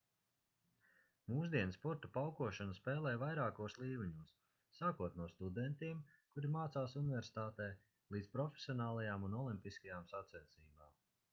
mūsdienu sporta paukošanu spēlē vairākos līmeņos sākot no studentiem kuri mācās universitātē līdz profesionālajām un olimpiskajām sacensībām